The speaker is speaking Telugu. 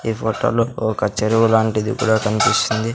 ఈ ఫోటోలో ఒక చెరువు లాంటిది కూడా కన్పిస్తుంది.